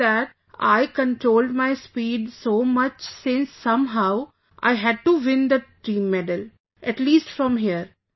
After that, I controlled my speed so much since somehow I had to win the team medal, at least from here